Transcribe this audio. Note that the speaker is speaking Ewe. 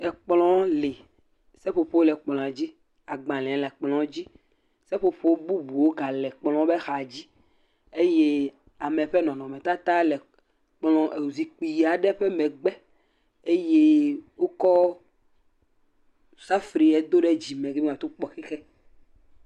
Ekplɔwo li seƒoƒo le kplɔa dzi agbalẽ le kplɔa dzi seƒoƒo bubuwo gale kplɔa ƒe axa dzi eye ame ƒe nɔnɔme tata le zikpui aɖe ƒe megbe eye wokɔ safui aɖe do ɖe dzime ateŋ kpɔ xixe